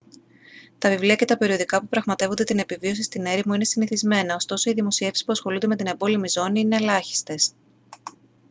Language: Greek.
τα βιβλία και τα περιοδικά που πραγματεύονται την επιβίωση στην έρημο είναι συνηθισμένα ωστόσο οι δημοσιεύσεις που ασχολούνται με την εμπόλεμη ζώνη είναι ελάχιστες